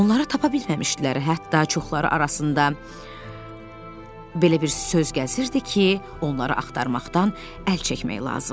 Onları tapa bilməmişdilər, hətta çoxları arasında belə bir söz gəzirdi ki, onları axtarmaqdan əl çəkmək lazımdır.